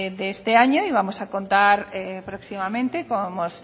de este año y vamos a contar próximamente como hemos